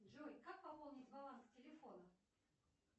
джой как пополнить баланс телефона